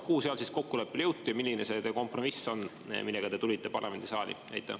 Kuhu seal siis kokkuleppele jõuti ja milline see teie kompromiss on, millega te tulite parlamendisaali?